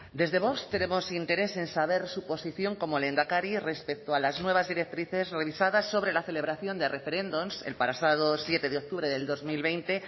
desde vox tenemos interés en saber su posición como lehendakari respecto a las nuevas directrices revisadas sobre la celebración de referendums el pasado siete de octubre del dos mil veinte